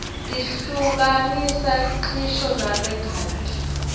tihluka nisa nqisho narerqati